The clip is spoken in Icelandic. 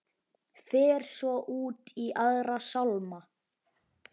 Fer svo út í aðra sálma.